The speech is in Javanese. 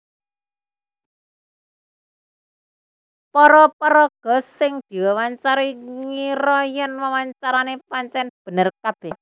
Para paraga sing diwawancarani ngira yèn wawancarané pancèn bener kabèh